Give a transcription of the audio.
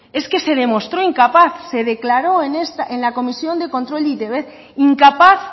es que se demostró incapaz se declaró en la comisión de control de e i te be incapaz